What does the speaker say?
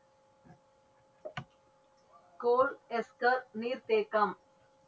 கோல் ester நீர் தேக்கம்.